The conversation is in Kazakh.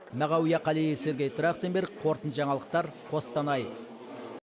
мағауия қалиев сергей трахтенберг қорытынды жаңалықтар қостанай